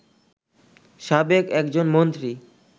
সাবেক একজন মন্ত্রী